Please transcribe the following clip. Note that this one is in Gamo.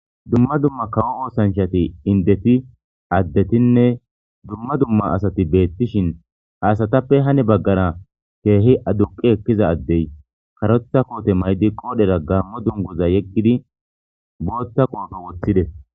dumma dumma kawo oosanchati indeti addetinne dumma dumma asati beettishin haasatappe hani baggara keehi aduqi ekkiza addey karotha koote may7di qoodhera gaammo dunguza yeggidi bootta qoofo woththides